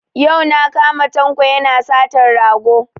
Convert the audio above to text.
Yau na kama Tanko yana satan rago